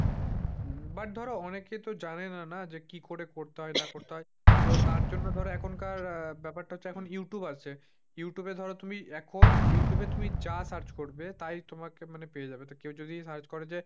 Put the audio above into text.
but ধর অনেকে তো জানেনা কি করে করতে হয় না করতে হয় তো তার জন্য ধর এখনকার আহ ব্যাপারটা হচ্ছে এখন youtube আছে। youtube এ ধর তুমি এখন youtube search করবে। তাই তোমাকে মানে পেয়ে যাবে মানে কেউ যদি search করে যে,